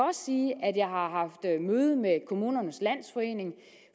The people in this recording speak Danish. sige at jeg har haft møde med kommunernes landsforening